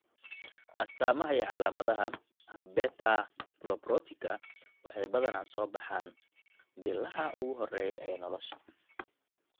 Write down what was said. astamaha iyo calaamadaha abetalipoproteitika waxay badanaa soo baxaan bilaha ugu horreeya ee nolosha.